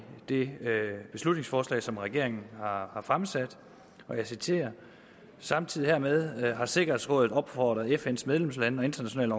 det beslutningsforslag som regeringen har har fremsat og jeg citerer samtidig hermed har sikkerhedsrådet opfordret fns medlemslande og internationale